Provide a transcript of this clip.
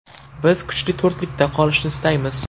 Biz kuchli to‘rtlikda qolishni istaymiz.